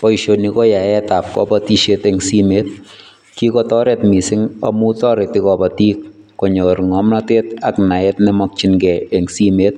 Boishoni koyaetab kobotishet en simoit, kikotoret mising amun toreti kobotik konyor ng'omnotet ak naet nemokying'e en simoit,